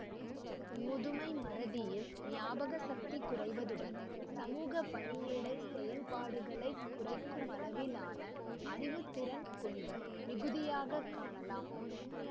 முதுமை மறதியில் ஞாபக சக்தி குறைவதுடன் சமூகபணியிட செயல்பாடுகளை குறைக்குமளவிலான அறிவுத்திறன் குன்றல் மிகுதியாக காணலாம்